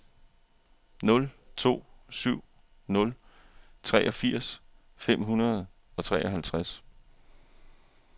nul to syv nul treogfirs fem hundrede og treoghalvtreds